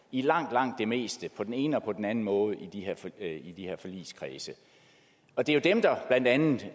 i langt langt det meste på den ene og på den anden måde i de her forligskredse og det er jo blandt andet